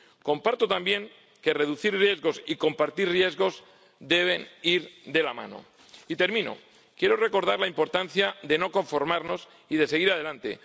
Comparto, también, que reducir riesgos y compartir riesgos deben ir de la mano. Y termino. Quiero recordar la importancia de no conformarnos y de seguir adelante.